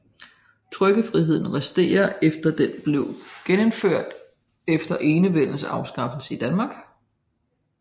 Trykkefriheden resterer efter at den blev genindført efter Enevældens afskaffelse i Danmark